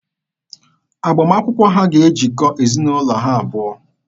Agbamakwụkwọ ha ga-ejikọ ezinaụlọ ha abụọ.